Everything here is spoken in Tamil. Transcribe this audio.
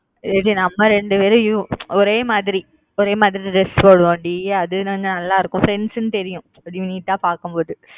ஏன்டி நம்ம இரண்டு பேரும் ஒரே மாதிரி ஒரே மாதிரி dress போடுவோம் டி அது நல்லா இருக்கும் friends ன்னு தெரியும் அப்பிடியே neat பாக்கும்போது